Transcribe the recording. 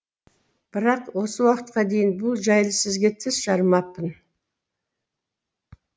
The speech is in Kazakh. бірақ осы уақытқа дейін бұл жайлы сізге тіс жармаппын